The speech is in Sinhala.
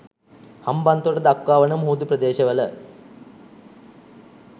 හම්බන්තොට දක්වා වන මුහුදු ප්‍රදේශවල